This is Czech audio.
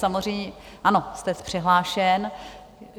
Samozřejmě ano, jste přihlášen.